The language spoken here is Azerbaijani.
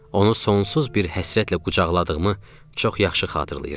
Onu sonsuz bir həsrətlə qucaqladığımı çox yaxşı xatırlayıram.